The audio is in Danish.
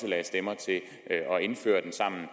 lagde stemmer til at indføre den sammen